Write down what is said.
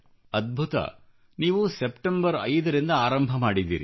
ಅದ್ಭುತ ನೀವು ಸೆಪ್ಟೆಂಬರ್ 5 ರಿಂದ ಆರಂಭಿಸಿದ್ದೀರಿ